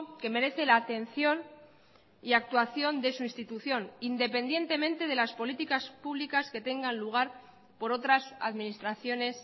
que merece la atención y actuación de su institución independientemente de las políticas públicas que tengan lugar por otras administraciones